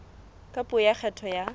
ka puo ya kgetho ya